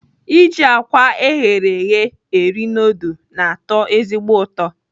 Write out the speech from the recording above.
Iji àkwá eghere eghe eri nudul na-atọ ezigbo ụtọ.